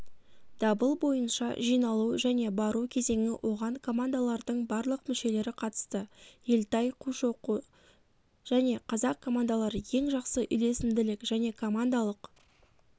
дабыл бойынша жиналу және бару кезеңі оған командалардың барлық мүшелері қатысты ельтай қушоқы және қазақ командалары ең жақсы үйлесімділік және командалық